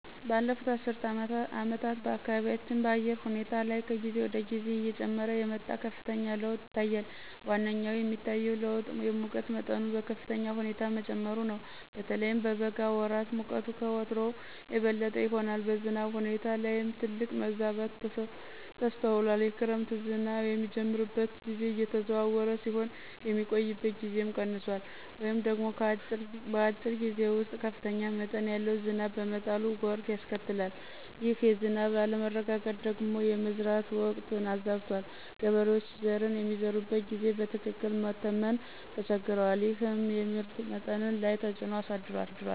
ባለፉት አስርት ዓመታት በአካባቢያችን በአየር ሁኔታ ላይ ከጊዜ ወደ ጊዜ እየጨመረ የመጣ ከፍተኛ ለውጥ ይታያል። ዋነኛው የሚታየው ለውጥ የሙቀት መጠኑ በከፍተኛ ሁኔታ መጨመሩ ነው። በተለይም በበጋ ወራት ሙቀቱ ከወትሮው የበለጠ ይሆናል። በዝናብ ሁኔታ ላይም ትልቅ መዛባት ተስተውሏል። የክረምት ዝናብ የሚጀምርበት ጊዜ እየተዘዋወረ ሲሆን፣ የሚቆይበት ጊዜም ቀንሷል ወይም ደግሞ በአጭር ጊዜ ውስጥ ከፍተኛ መጠን ያለው ዝናብ በመጣሉ ጎርፍ ያስከትላል። ይህ የዝናብ አለመረጋጋት ደግሞ የመዝራት ወቅትን አዛብቶታል። ገበሬዎች ዘርን የሚዘሩበትን ጊዜ በትክክል መተመን ተቸግረዋል፤ ይህም የምርት መጠን ላይ ተፅዕኖ አሳድሯል።